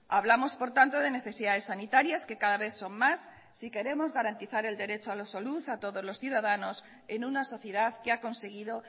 hablamos por tanto de necesidades sanitarias que cada vez son más si queremos garantizar el derecho a la salud a todos los ciudadanos en una sociedad que ha conseguido